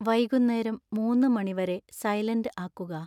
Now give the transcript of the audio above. വൈകുന്നേരം മൂന്നു മണി വരെ സൈലൻറ് ആകുക